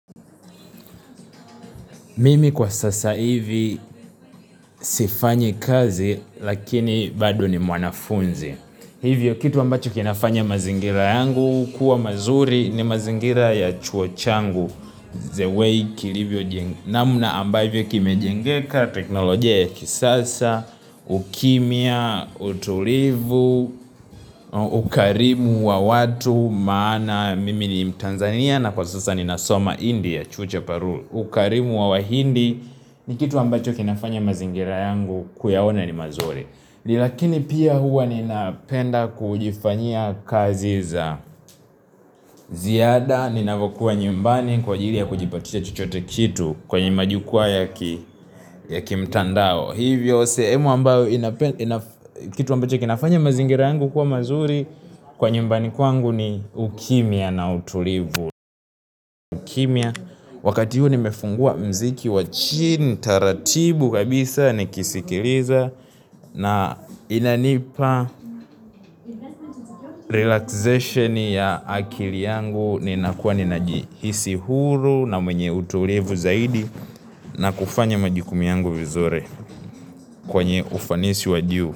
Mimi kwa sasa hivi sifanyi kazi lakini bado ni mwanafunzi. Hivyo kitu ambacho kinafanya mazingira yangu kuwa mazuri ni mazingira ya chuo changu. The way namuna ambayo kimejengeka teknolojia ya kisasa, ukimya, utulivu, ukarimu wa watu maana mimi ni mtanzania na kwa sasa ni nasoma India chuo cha paru. Ukarimu wa wahindi ni kitu ambacho kinafanya mazingira yangu kuyaona ni mazuri. Lakini pia huwa ninapenda kujifanyia kazi za ziyada Ninavokuwa nyumbani kwa ajili ya kujibatisha chochote kitu kwenye majukuwaa yakimtandao Hivyo sehemu ambacho kinafanya mazingira yangu kuwa mazuri kwa nyumbani kwangu ni ukimya na utulivu kimya wakati huu nimefungua mziki wa chini taratibu kabisa nikisikiliza na inanipa relaxation ya akili yangu ninakua ninajihisi huru na mwenye utulivu zaidi na kufanya majukumu yangu vizuri kwenye ufanisi wa juu.